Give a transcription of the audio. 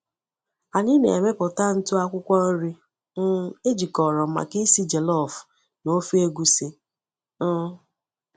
Anyị na-emepụta ntụ akwụkwọ nri um ejikọrọ maka isi jollof na ofe egusi. um